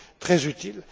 sera aussi très